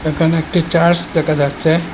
এখানে একটি চার্চ দেকা যাচ্চে।